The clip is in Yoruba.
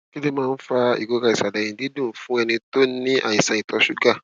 kí ló máa ń fa ìrora ìsàlẹ ẹyìn dídùn fún ẹni tó ní àìsàn ìtọ ṣúgà